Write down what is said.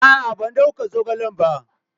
A'a, ban dauka zogalen ba.